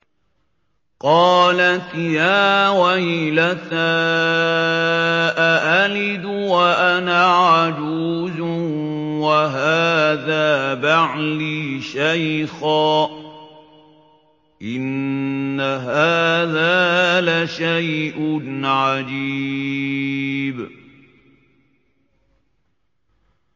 قَالَتْ يَا وَيْلَتَىٰ أَأَلِدُ وَأَنَا عَجُوزٌ وَهَٰذَا بَعْلِي شَيْخًا ۖ إِنَّ هَٰذَا لَشَيْءٌ عَجِيبٌ